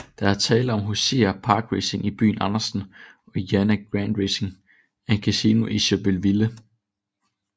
Der er tale om Hoosier Park Racing i byen Andersen og Indiana Grand Racing and Casino i Shelbyville